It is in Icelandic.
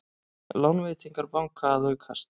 Lánveitingar banka að aukast